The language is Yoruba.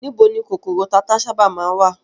Níbo ni kòkòrò tata sábà má ń wà?